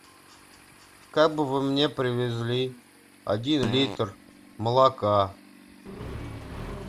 как бы вы мне привезли один литр молока